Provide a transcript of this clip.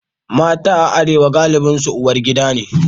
Mata a Arewa galibinsu uwar gida ne.